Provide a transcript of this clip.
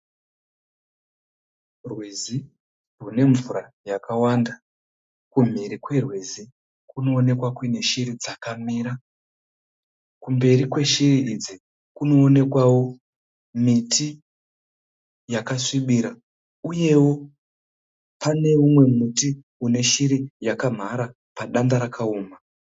Rwizi runemvura yakawanda. Kumhiri kwerwizi kunoonekwa kune shiri dzakamira. Kumberi kweshiri idzi kunoonekwawo kune miti yakasvibira uyewo kune umwe muti uneshiri yakamhara padanda rakaoma.